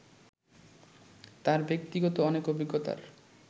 তাঁর ব্যক্তিগত অনেক অভিজ্ঞতার